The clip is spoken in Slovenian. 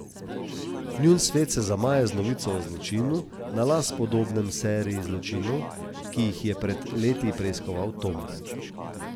Njun svet se zamaje z novico o zločinu, na las podobnem seriji zločinov, ki jih je pred leti preiskoval Tom.